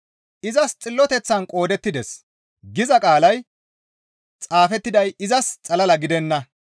«Izas xilloteththan qoodettides» giza qaalay xaafettiday izas xalala gidenna.